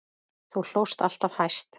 Þú hlóst alltaf hæst.